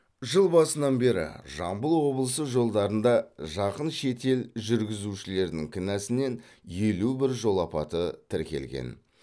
жыл басынан бері жамбыл облысы жолдарында жақын шет ел жүргізушілерінің кінәсінен елу бір жол апаты тіркелген